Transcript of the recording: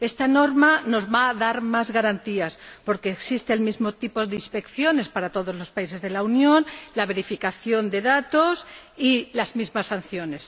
Esta norma nos va a dar más garantías, porque existe el mismo tipo de inspecciones para todos los países de la Unión, la verificación de datos y las mismas sanciones.